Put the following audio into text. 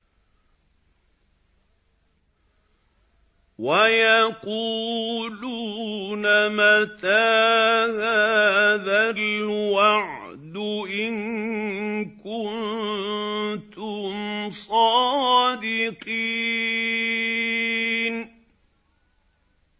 وَيَقُولُونَ مَتَىٰ هَٰذَا الْوَعْدُ إِن كُنتُمْ صَادِقِينَ